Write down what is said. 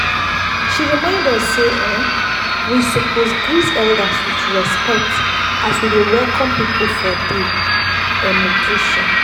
she remind us sey um we suppose greet elders with respect as we dey welcome people for dey um occasion.